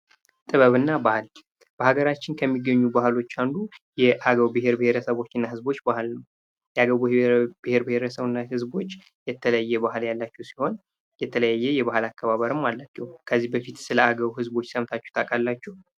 ጥበብ እና ባህል በአገራችን ከሚገኙ ባህሎች አንዱ የአገው ብሄር ብሄረሰቦችና ህዝቦች ባህል ነው ።የአገው ብሄር ብሄረሰቦች እና ህዝቦች የተለየ ባህል ያላቸው ሲሆን የተለያየ የባህል አ ያላቸው ሲሆን የተለያየ የባህል አከባበርም አላቸው ከዚህ በፊት ስለ አገው ዝቦች ሰምታችሁ ታውቃላችሁ?